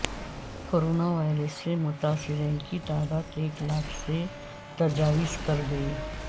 corona virus سے متاثرین کی تعداد ایک لاکھ سے تجاوز کرگئی